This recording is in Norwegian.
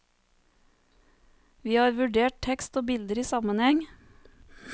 Vi har vurdert tekst og bilder i sammenheng.